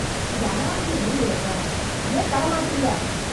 இது அனாவசிய லீவ் இல்ல சார். ஏன் தரமாட்டீங்க?